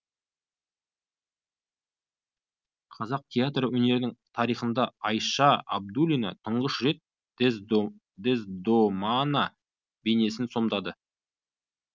қазақ театр өнерінің тарихында айша абдуллина тұңғыш рет дездомана бейнесін сомдады